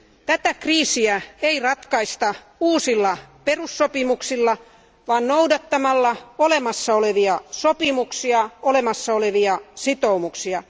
Tätä kriisiä ei ratkaista uusilla perussopimuksilla, vaan noudattamalla olemassa olevia sopimuksia, olemassa olevia sitoumuksia.